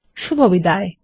শুভবিদায়